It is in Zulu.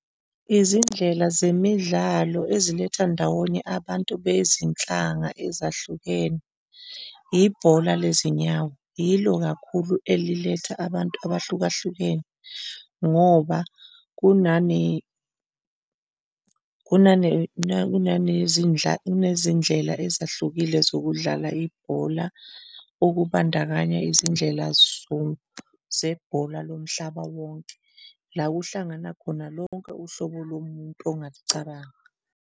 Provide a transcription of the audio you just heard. Izindlela zemidlalo eziletha ndawonye abantu bezinhlanga ezahlukene, ibhola lezinyawo yilo kakhulu eliletha abantu abahluka hlukene ngoba kunanezindlela ezahlukile zokudlala ibhola, okubandakanye izindlela zebhola lomhlaba wonke, la kuhlangana khona lonke uhlobo lomuntu ongalucabanga.